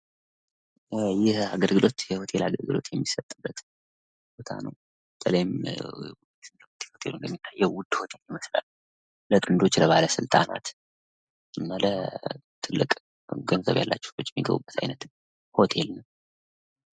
ይህ አገልግሎት የሆቴል አገልግሎት የሚሰጥበት ቦታ ነው። በተለይም እንደሚታየው ውድ ሆቴል ለጥንዶች፣ ለባለ ስልጣናትና ለትልቅ ገንዘብ ያላቸው ሰዎች የሚገቡበት እንደዚህ አይነት ሆቴል ነው።